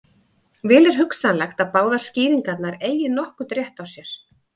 Vel er hugsanlegt að báðar skýringarnar eigi nokkurn rétt á sér.